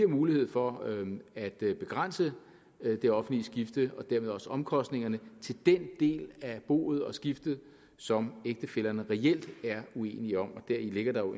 mulighed for at begrænse det offentlige skifte og dermed også omkostningerne til den del af boet og skiftet som ægtefællerne reelt er uenige om og der ligger jo